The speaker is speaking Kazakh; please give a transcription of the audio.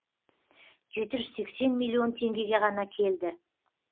жеті жүз сексен миллион теңгеге ғана келді